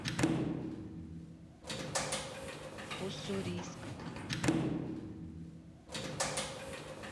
уссурийск